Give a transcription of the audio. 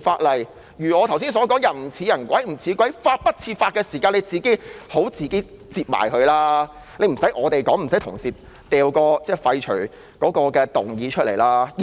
法例如我剛才所說的"人不人，鬼不鬼，法不法"的時候，便應當自行取消，無須我們提出，無須同事提出要廢法的擬議決議案。